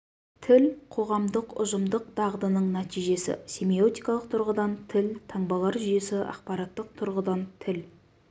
тіл қоғамдық ұжымдық дағдының нәтижесі семиотикалық тұрғыдан тіл таңбалар жүйесі ақпараттық тұрғыдан тіл